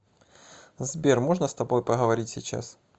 сбер можно с тобой поговорить сейчас